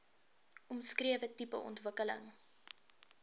omskrewe tipe ontwikkeling